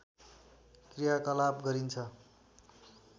क्रियाकलाप गरिन्छ